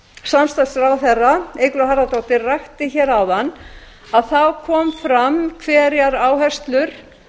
samstarfsráðherra eygló harðardóttir rakti áðan kom fram hverjar áherslur